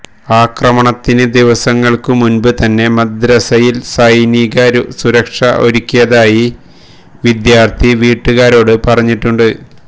ആക്രമണത്തിന് ദിവസങ്ങൾക്ക് മുൻപ് തന്നെ മദ്രസയിൽ സൈനിക സുരക്ഷ ഒരുക്കിയതായി വിദ്യാര്ഥി വീട്ടുകാരോട് പറഞ്ഞിട്ടുണ്ട്